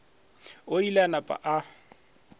o ile a napa a